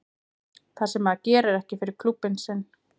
Það sem að maður gerir ekki fyrir klúbbinn sinn.